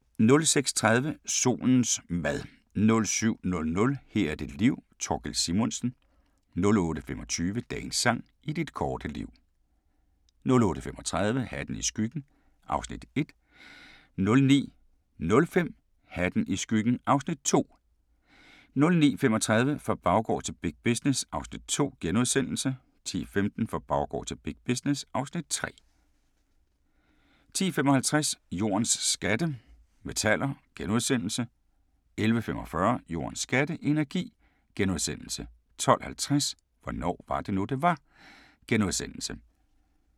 06:30: Solens mad 07:00: Her er dit liv - Thorkild Simonsen 08:25: Dagens sang: I dit korte liv 08:35: Hatten i skyggen (Afs. 1) 09:05: Hatten i skyggen (Afs. 2) 09:35: Fra baggård til big business (Afs. 2)* 10:15: Fra baggård til big business (Afs. 3) 10:55: Jordens skatte – metaller * 11:45: Jordens skatte – energi * 12:50: Hvornår var det nu, det var? *